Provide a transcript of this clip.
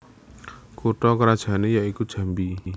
Kutha krajanne ya iku Jambi